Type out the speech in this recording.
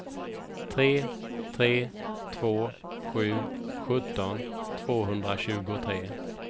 tre tre två sju sjutton tvåhundratjugotre